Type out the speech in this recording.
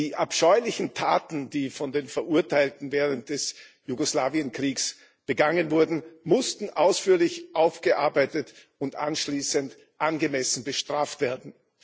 Die abscheulichen Taten, die von den Verurteilten während des Jugoslawienkriegs begangen wurden, mussten ausführlich aufgearbeitet und anschließend angemessen bestraft werden.